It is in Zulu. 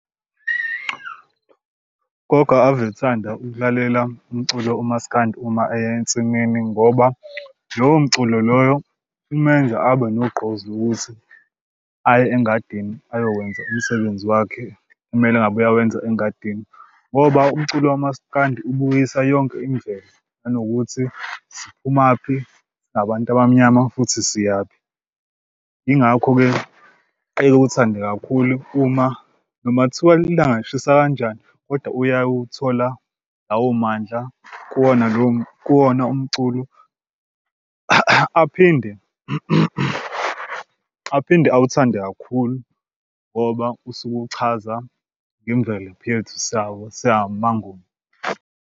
Gogo ave ethanda ukulalela umculo umaskandi uma eya ensimini ngoba lowo mculo loyo umenze abe nogqozi lokuthi aye engadini ayokwenza umsebenzi wakhe. Kumele ngabe uyawenza engadini ngoba umculo kamaskandi ubuyisa yonke imvelo, nanokuthi siphumaphi singabantu abamnyama futhi siyaphi. Yingakho-ke ekuthande kakhulu uma noma thiwa ilanga lishisa kanjani kodwa uyawuthola lawo mandla kuwona kuwona umculo aphinde aphinde awuthande kakhulu ngoba usuke uchaza ngemvelaphi yethu samaNguni.